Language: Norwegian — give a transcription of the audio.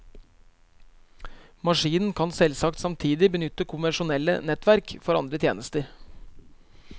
Maskinen kan selvsagt samtidig benytte konvensjonelle nettverk for andre tjenester.